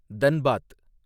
Dhanbad